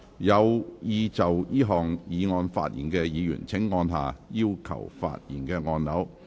有意就這項議案發言的議員請按下"要求發言"按鈕。